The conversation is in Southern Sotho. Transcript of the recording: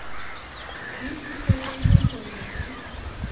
le fihlellehe ho ya ka